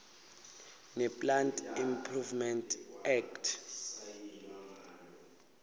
neplant improvement act